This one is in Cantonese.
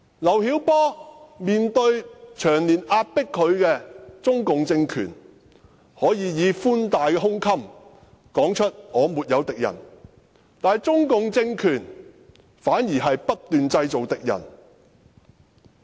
劉曉波面對長年壓迫他的中共政權，能夠以寬大的胸襟說出"我沒有敵人"，但中共政權反而不斷製造敵人。